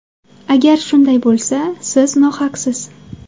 Agar shunday bo‘lsa, siz nohaqsiz.